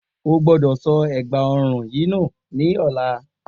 O gbọ́dọ̀ sọ ègbà ọrùn yìí nù ní ọ̀la